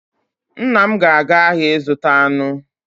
Nna m ga-aga ahịa ịzụta anụ